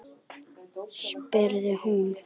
spurði hún.